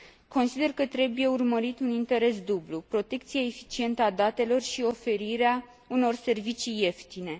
Consider că trebuie urmărit un interes dublu protecția eficientă a datelor și oferirea unor servicii ieftine.